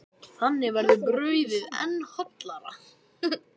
Þannig verður brauðið enn hollara.